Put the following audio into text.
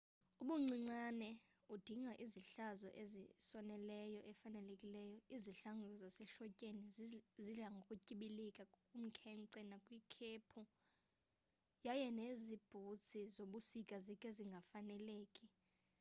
ubuncinane udinga izihlangu ezinesoli efanelekileyo izihlangu zasehlotyeni zidla ngokutyibilika kumkhenkce nakwikhephu yaye nezinye iibhutsi zobusika zikhe zingafaneleki